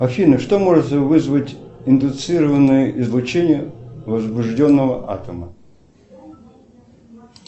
афина что может вызвать индуцированное излучение возбужденного атома